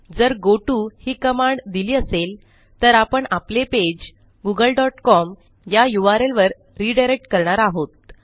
जर गोटो ही कमांड दिली असेल तर आपण आपले पेज गूगल डॉट कॉम या u r ल वर रिडायरेक्ट करणार आहोत